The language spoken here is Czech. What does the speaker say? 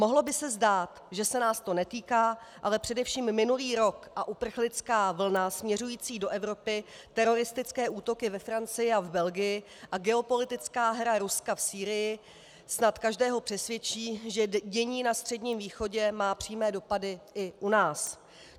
Mohlo by se zdát, že se nás to netýká, ale především minulý rok a uprchlická vlna směřující do Evropy, teroristické útoky ve Francii a v Belgii a geopolitická hra Ruska v Sýrii snad každého přesvědčí, že dění na Středním východě má přímé dopady i u nás.